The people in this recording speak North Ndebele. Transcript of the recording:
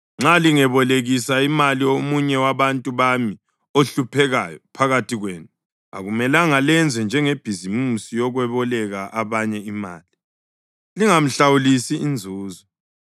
Nxa lingebolekisa imali omunye wabantu bami ohluphekayo phakathi kwenu, akumelanga lenze njengebhizimisi yokweboleka abanye imali, lingamhlawulisi inzuzo.